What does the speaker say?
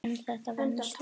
En þetta venst.